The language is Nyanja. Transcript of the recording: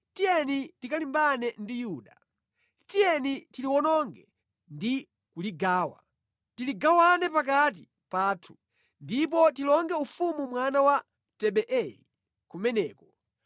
‘Tiyeni tikalimbane ndi Yuda. Tiyeni tiliwononge ndi kuligawa; tiligawane pakati pathu, ndipo tilonge ufumu mwana wa Tabeeli kumeneko.’